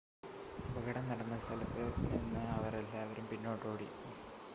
അപകടം നടന്ന സ്ഥലത്ത് നിന്ന് അവർ എല്ലാവരും പിന്നോട്ട് ഓടി